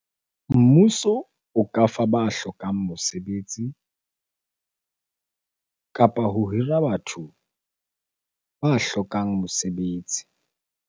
Mmuso o ka fa ba hlokang mosebetsi kapa ho hira batho ba hlokang mosebetsi.